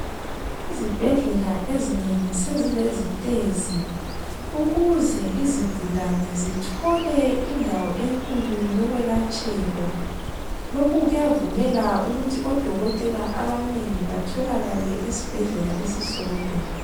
Izibhedlela ezinengi sesilezitezi ukuze izigulane zithole indawo enkulu yokwelatshelwa, lokhu kuyavumela ukuthi dokotela abanengi batholakale esibhedlela esisodwa.